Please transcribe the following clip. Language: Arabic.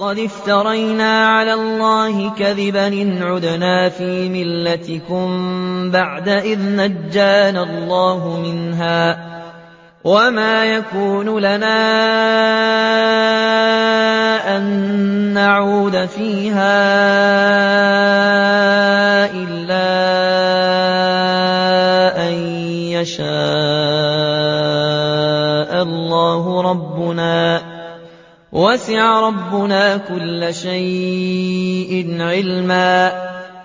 قَدِ افْتَرَيْنَا عَلَى اللَّهِ كَذِبًا إِنْ عُدْنَا فِي مِلَّتِكُم بَعْدَ إِذْ نَجَّانَا اللَّهُ مِنْهَا ۚ وَمَا يَكُونُ لَنَا أَن نَّعُودَ فِيهَا إِلَّا أَن يَشَاءَ اللَّهُ رَبُّنَا ۚ وَسِعَ رَبُّنَا كُلَّ شَيْءٍ عِلْمًا ۚ